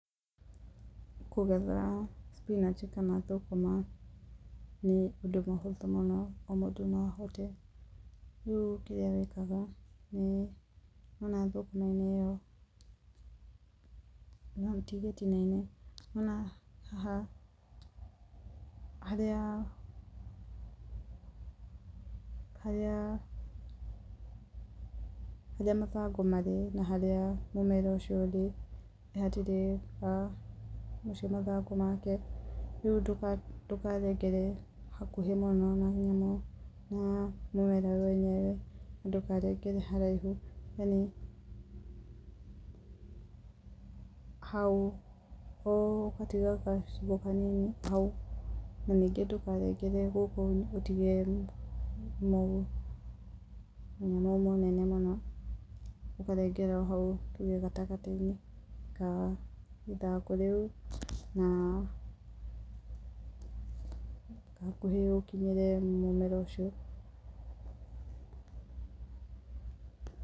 Kũgetha spinach kana thũkũma nĩ ũndũ mũhũthũ mũno, o mũndũ no ahote. Rĩu kĩrĩa wĩkaga, nĩ wona thũkũma-inĩ ĩyo, no ũtinie gĩtina-inĩ kana haha, harĩa, harĩa harĩa mathangũ marĩ na harĩa mũmera ũcio ũrĩ nĩ hatirĩ na mathangũ make, rĩu ndũkarengere hakuhĩ mũno na mũmera wenyewe na ndũkarengere haraihu. Hau, ũgatiga gacigo kanini hau na ningĩ ndũkarengere gũkũ ũtige mũnyamũ mũnene mũno, ũkarengera hau tuge gatagatĩ-inĩ ka ithangu rĩu na hakuhĩ ũkinyĩre mũmera ũcio.